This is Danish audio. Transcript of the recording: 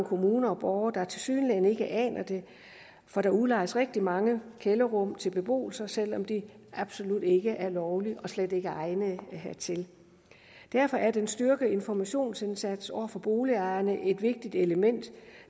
kommuner og borgere der tilsyneladende ikke aner det for der udlejes rigtig mange kælderrum til beboelse selv om det absolut ikke er lovligt og slet ikke er egnede hertil derfor er den styrkede informationsindsats over for boligejerne et vigtigt element